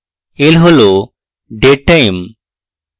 l হল dead time এবং